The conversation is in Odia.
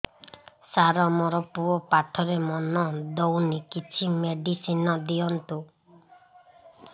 ସାର ମୋର ପୁଅ ପାଠରେ ମନ ଦଉନି କିଛି ମେଡିସିନ ଦିଅନ୍ତୁ